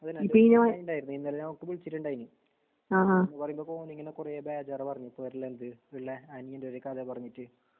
അതന്നെ. ഇന്നലെ നൗഫല് വിളിച്ചുണ്ടായിഞ്ഞി. പറയുമ്പൊഫോണിങ്ങനെകുറേബേജാറാപറഞ്ഞെഇപ്പൊരലെന്ത് വെള്ളെ അനിയന്റൊരു കഥപറഞ്ഞിട്ട്.